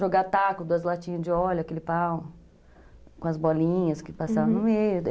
Jogar taco, duas latinhas de óleo, aquele pau, com as bolinhas que passavam, uhum, no meio.